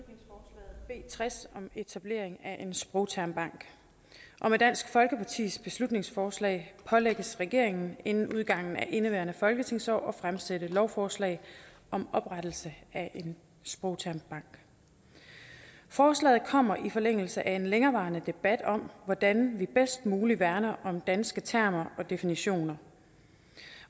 i tres om etablering af en sprogtermbank med dansk folkepartis beslutningsforslag pålægges regeringen inden udgangen af indeværende folketingsår at fremsætte lovforslag om oprettelse af en sprogtermbank forslaget kommer i forlængelse af en længerevarende debat om hvordan vi bedst muligt værner om danske termer og definitioner